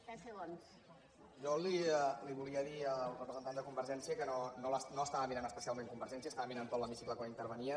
jo li volia dir al representant de convergència que no estava mirant especialment convergència estava mirant tot l’hemicicle quan intervenia